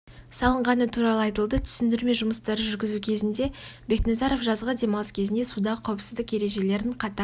салынғаны туралы айтылды түсіндірме жұмыстары жүргізу кезінде бекназаров жазғы демалыс кезінде судағы қауіпсіздік ережелерін қатаң